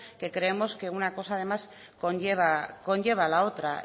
que creemos que una cosa además conlleva a la otra